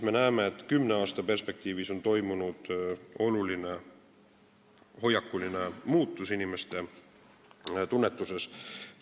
Me näeme, et on toimunud oluline hoiakuline muutus inimeste tunnetuses.